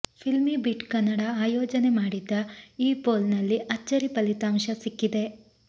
ಫಿಲ್ಮಿಬೀಟ್ ಕನ್ನಡ ಆಯೋಜನೆ ಮಾಡಿದ್ದ ಈ ಪೋಲ್ ನಲ್ಲಿ ಅಚ್ಚರಿ ಫಲಿತಾಂಶ ಸಿಕ್ಕಿದೆ